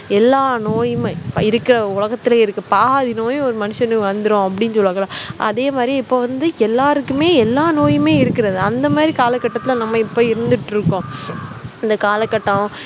எல்லா நோயுமே இருக்கிற உலகத்துல இருக்க பாதி நோயும் ஒரு மனுஷனுக்கு வந்துரும் அப்படின்னு சொல்லுவாங்கல்ல அதே மாதிரியே இப்ப வந்து எல்லாருக்குமே எல்லா நோயுமே இருக்கிறது அந்த மாதிரி காலகட்டத்தில நம்ம இப்ப இருந்திட்டிருக்கோம் இந்த காலகட்டம்